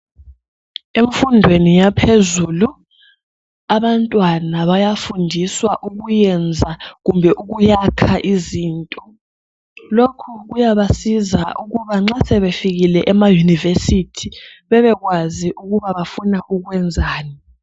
Emfundweni yaphezulu abantwana bayafundiswa ukuyenza kumbe ukuyakha izinto .Lokhu kuyabasiza ukuba nxa sebefikile emaYunivesi bebekwazi ukuba bafuna ukwenzani.